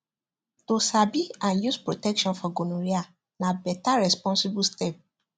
to sabi and use protection for gonorrhea na better responsible step